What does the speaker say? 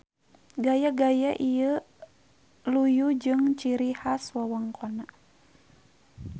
Gaya-gaya ieu luyu jeung ciri has wewengkonna.